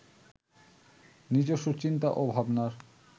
নিজস্ব চিন্তা ও ভাবনার